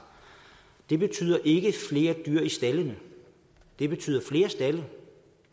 det betyder ikke flere dyr i staldene det betyder flere stalde